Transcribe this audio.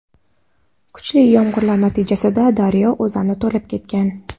Kuchli yomg‘irlar natijasida daryo o‘zani to‘lib ketgan.